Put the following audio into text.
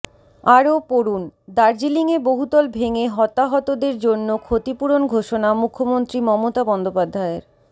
আরও পড়ুন দার্জিলিংয়ে বহুতল ভেঙে হতাহতদের জন্য ক্ষতিপূরণ ঘোষণা মুখ্যমন্ত্রী মমতা বন্দ্যোপাধ্যায়ের